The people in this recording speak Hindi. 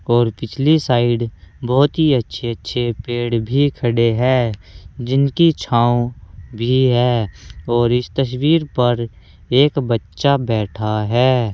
और पिछली साइड बहुत ही अच्छे अच्छे पेड़ भी खड़े हैं जिनकी छांव भी है और इस तस्वीर पर एक बच्चा बैठा है।